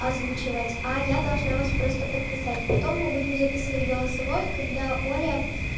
озвучивать а я должна вас просто подписать потом мы будем записывать голосовое когда оля